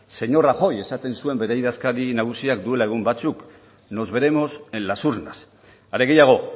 señor rajoy esaten zuen bere idazkari nagusiak duela egun batzuk nos veremos en las urnas are gehiago